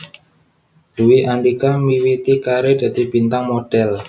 Dwi Andhika miwiti karir dadi bintang modhél